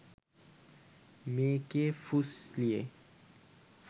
মেয়েকে ফুসলিয়ে